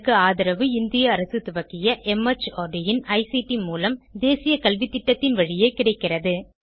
இதற்கு ஆதரவு இந்திய அரசு துவக்கிய மார்ட் இன் ஐசிடி மூலம் தேசிய கல்வித்திட்டத்தின் வழியே கிடைக்கிறது